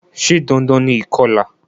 Se dandan ni ìkolà?